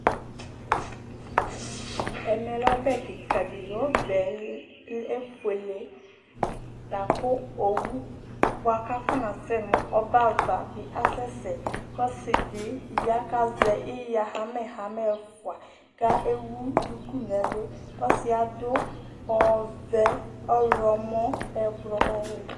Ɛmɛlɛ ɔbɛ kìka ɖi li Ɔbɛ efʋele kʋ owu kasɛnʋ ɔbɛ ava bi asɛsɛ Ɔsiɖi ɣa kazɛ iɣa hamɛ hamɛ ɛfʋa kʋ ewu ɖʋku ŋu ɛlu Ɔsiɛ aɖu ɔvɛ, ɔlɔmɔ, ɛblɔ, ɔwɛ